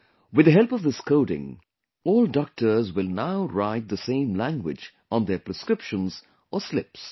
With the help of this coding, all doctors will now write the same language on their prescriptions or slips